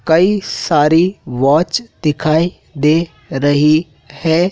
कई सारी वॉच दिखाई दे रही है।